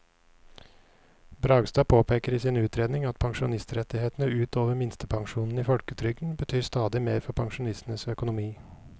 Bragstad påpeker i sin utredning at pensjonsrettighetene ut over minstepensjonen i folketrygden betyr stadig mer for pensjonistenes økonomi.